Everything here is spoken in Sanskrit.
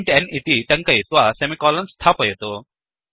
इन्ट् n इति टङ्कयित्वा सेमिकोलन् स्थापयतु